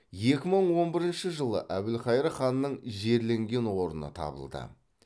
екі мың он бірінші жылы әбілқайыр ханның жерленген орны табылды